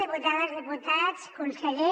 diputades diputats conseller